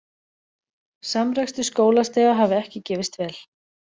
Samrekstur skólastiga hafi ekki gefist vel